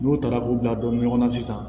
N'u taara k'u bila don ɲɔgɔn na sisan